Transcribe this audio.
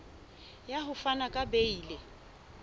ya ho fana ka beile